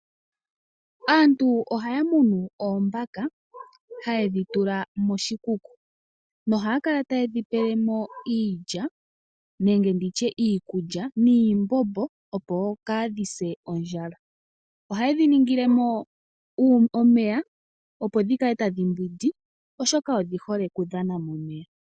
Aantu ohaya munu oombaka haye dhi tula moshikuku nohaya kala taye dhi pele mo iilya nenge iikulya niimbombo, opo kaadhi se ondjala. Ohaye dhi ningile mo omeya, opo dhi kale tadhi mbwindi, oshoka odhi hole okudhana momeya.